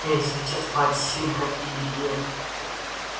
ей сейчас двадцать семь как и илье